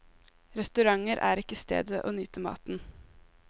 Restauranter er ikke stedet å nyte maten.